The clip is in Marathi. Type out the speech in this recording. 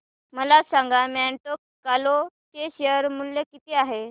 मला सांगा मॉन्टे कार्लो चे शेअर मूल्य किती आहे